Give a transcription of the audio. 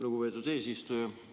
Lugupeetud eesistuja!